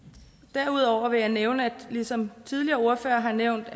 derudover vil jeg nævne ligesom tidligere ordførere har nævnt